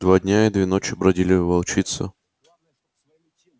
два дня и две ночи бродили волчица